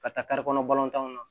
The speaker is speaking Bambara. Ka taa kɔnɔ balontanw na